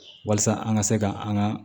Walasa an ka se ka an ka